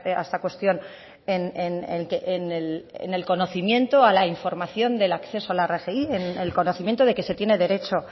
a esta cuestión en el conocimiento a la información del acceso a la rgi en el conocimiento de que se tiene derecho